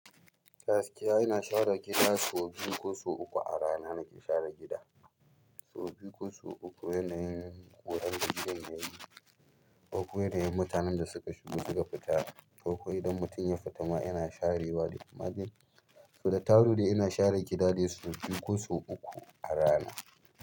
Gaskiya ina share gida sau biyu ko sau uku a rana nake share gida. Sau biyu ko sau uku yanayin da in ƙurar da gidan yayi, ko kuwa yanayin da mutanen da suka shigo suka fita. Ko kuwa idan mutum ya fita ma yana share wa da safe. Sauda taru dai ina share gida dai sau biyu ko sau uku a rana.